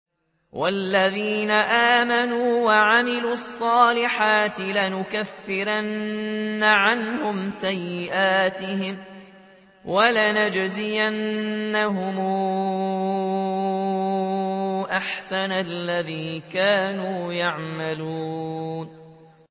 وَالَّذِينَ آمَنُوا وَعَمِلُوا الصَّالِحَاتِ لَنُكَفِّرَنَّ عَنْهُمْ سَيِّئَاتِهِمْ وَلَنَجْزِيَنَّهُمْ أَحْسَنَ الَّذِي كَانُوا يَعْمَلُونَ